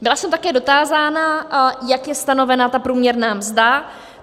Byla jsem také dotázána, jak je stanovena ta průměrná mzda.